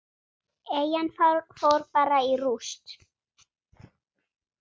Eyjan fór bara í rúst.